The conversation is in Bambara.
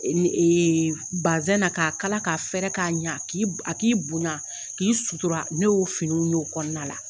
Basɛn na k'a kala k'a fɛrɛ k'a ɲɛ, k' a k'i bonya k'i sutura ne y'o finiw y' o kɔnɔna la.